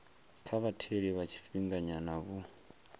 kha vhatheli vha tshifhinganyana vho